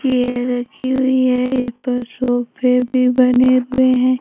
Chair रखी हुई है इस पर सोफे भी बने हुए हैं।